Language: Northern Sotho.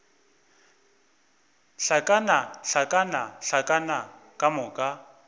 hlakana hlakana hlakana ka moka